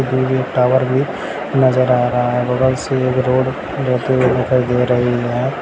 Tower भी नज़र आ रहा है बगल से एक रोड जाती हुई दिखाई दे रही है।